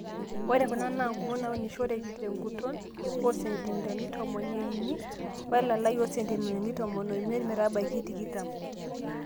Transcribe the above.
Ore Kuna naa ingumot naaunishoreki tenguton oo sentimitani tomon ieni oo elalai oo sentimitani tomon amiet metabaiki tikitam